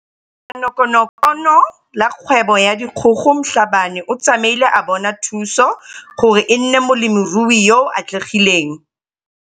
Leanokonokono la Kgwebo ya Dikgogo Mhlabane o tsamaile a bona thuso gore e nne molemirui yo o atlegileng.